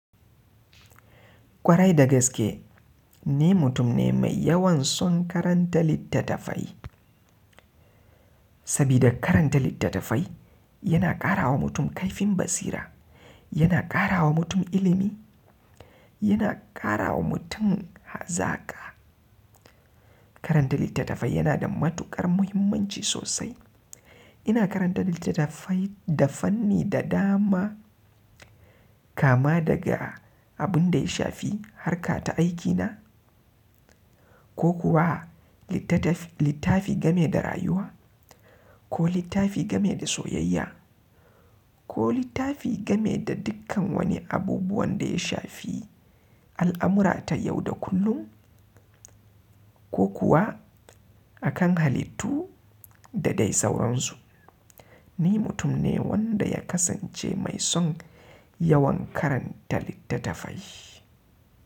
Kwarai da gaske ni mutum ne mai yawan son karanta littattafai. Sabida karanta littattafai yana ƙara wa mutum kaifin basira, yana ƙara wa mutum ilimi, yana ƙara wa mutum hazaka. Karanta littattafai yana da matuƙar muhimmanci sosai. Ina karanta littattafai da fanni da dama kama daga abun da ya shafi harkata aikina ko kuwa littafi game da rayuwa ko littafi game da soyayya ko littafi game da dukkan wani abubuwan da ya shafi al'amura ta yau da kullum ko kuwa akan halittu da dai sauran su. Ni mutum ne wanda ya kasance mai son yawan karanta littattafai.